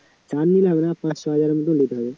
পাঁচ ছ হাজারের মত নিতে হবে